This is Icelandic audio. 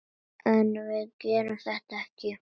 En við gerðum þetta ekki!